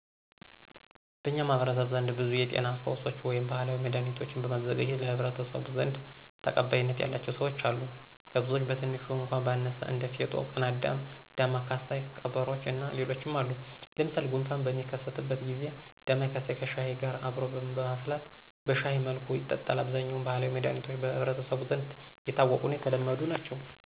በኛ ማህበረሰብ ዘንድ ብዙ የጤና ፈውሶች ወይም ባህላዊ መዳህኒቶችን በማዘጋጀት ለማህበረሰቡ ዘንድ ተቀባይነት ያላቸው ሰወች አሉ። ከብዙወች ቀትንሹ እኳ ባነሳ እንደ ፌጦ፣ ቅናዳም፣ ዳማ ከስይ ቀበሮቾ እና ሌሎችም አሉ። ለምሳሌ፣ ጉንፋን በሚከሰትበት ጊዚ ዳማከስይን ከሽሀይ ጋር አብሮ በማፍላት በሸሀይ መልኩ ይጠጣል። አብዛኛወች ባህላዊ መዳኒቶች በህብረተሰቡ ዘንድ የታወቁና የተለመዱ ናቸው።